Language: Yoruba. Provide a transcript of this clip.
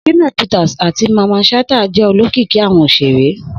Shina Peters ati Mamman Shata jẹ olokiki awọn oṣere.